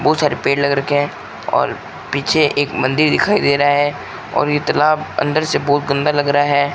बहोत सारे पेड़ लग रखे हैं और पीछे एक मंदिर दिखाई दे रहा है और इतना अंदर से बहुत गंदा लग रहा है।